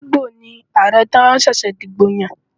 Igbo ni Ààrẹ tí wọ́n ṣẹ̀ṣẹ̀ dìbò yàn.